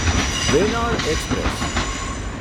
Venad express